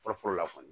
Fɔlɔ fɔlɔ la kɔni